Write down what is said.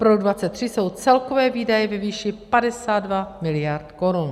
Pro rok 2023 jsou celkové výdaje ve výši 52 miliard korun.